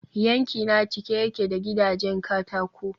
yankina cike yake da gidajen katako